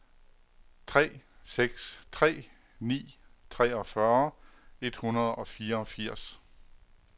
tre seks tre ni treogfyrre et hundrede og fireogfirs